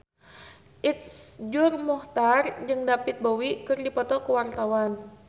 Iszur Muchtar jeung David Bowie keur dipoto ku wartawan